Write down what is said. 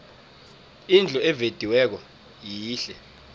indlu evediweko yihle